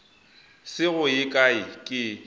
se go ye kae ke